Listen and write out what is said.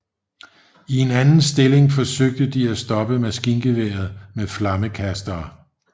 I en anden stilling forsøgte de at stoppe maskingeværet med flammekastere